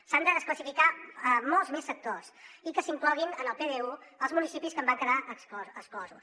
s’han de desclassificar molts més sectors i que s’incloguin en el pdu els municipis que en van quedar exclosos